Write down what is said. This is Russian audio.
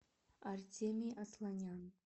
артемий асланян